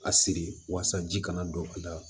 A siri walasa ji kana don ka da